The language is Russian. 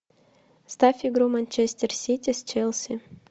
ставь игру манчестер сити с челси